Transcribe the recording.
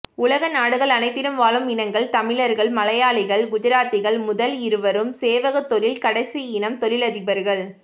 உலகநாடுகள் அனைத்திலும் வாழும் இனங்கள் தமிழர்கள் மலையாளிகள் குஜராத்திகள் முதல் இருவரும் சேவகத்தொழில்கடைசி இனம் தொழிலதிபர்கள்